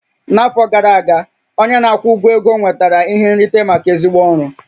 N'afọ gara aga, onye na-akwụ ụgwọ ego nwetara ihe nrite maka ezigbo ọrụ